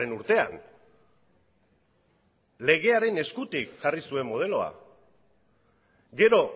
urtean legearen eskutik jarri zuen modeloa gero